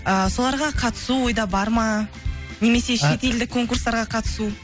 ііі соларға қатысу ойда бар ма немесе шет елдік конкурстарға қатысу